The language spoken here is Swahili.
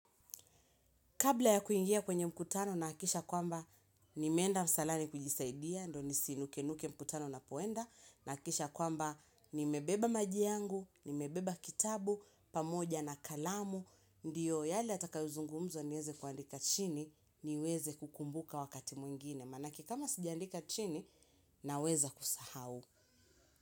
Kabla ya kuingia kwenye mkutano, nahakikisha kwamba nimeenda msalani kujisaidia, ndio nisinuke nuke mkutano unapoenda, nahakikisha kwamba nimebeba maji yangu, nimebeba kitabu, pamoja na kalamu, ndiyo yale atakayo zungumza niweze kuandika chini, niweze kukumbuka wakati mwingine, manake kama sija andika chini, naweza kusahau.